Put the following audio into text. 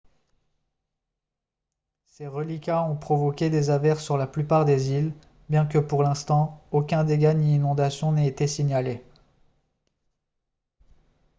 ses reliquats ont provoqué des averses sur la plupart des îles bien que pour l'instant aucun dégât ni inondation n'ait été signalé